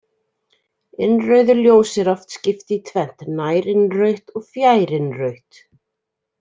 Innrauðu ljósi er oft skipt í tvennt, nærinnrautt og fjærinnrautt.